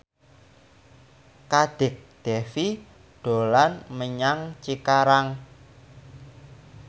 Kadek Devi dolan menyang Cikarang